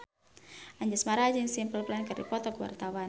Anjasmara jeung Simple Plan keur dipoto ku wartawan